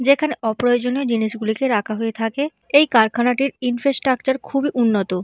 যেখানে অপ্রয়োজনীয় জিনিস গুলিকে রাখা হয়ে থাকে। এই কারখানাটির ইন্ট্রো স্ট্রাকচার খুবই উন্নত।